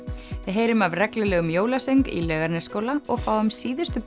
heyrum af reglulegum jólasöng í Laugarnesskóla og fáum síðustu